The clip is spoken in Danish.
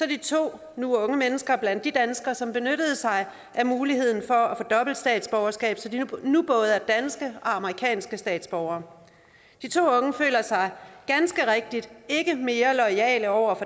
de to nu unge mennesker blandt de danskere som benyttede sig af muligheden for at få dobbelt statsborgerskab så de nu både er danske og amerikanske statsborgere de to unge føler sig ganske rigtigt ikke mere loyale over